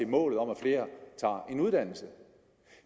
målet om at flere tager en uddannelse